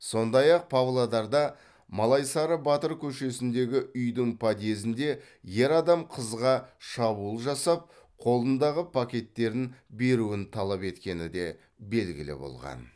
сондай ақ павлодарда малайсары батыр көшесіндегі үйдің подъезінде ер адам қызға шабуыл жасап қолындағы пакеттерін беруін талап еткені де белгілі болған